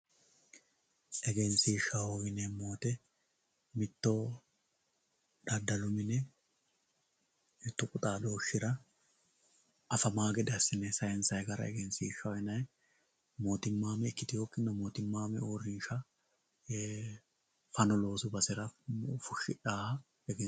egenshiishshaho yineemmo woyiite mitto daddalu mine mittu xaadooshshira afamawoo gede assine saansayii gara egenshiishshaho yinayii mootimmaame ikkitewookkinna mootimmaame uurrinsha fano loosu basera fushshidhawooha egenshiishshaho.